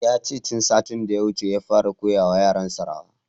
Yace tun satin da ya wuce ya fara koya wa yaran sa rawa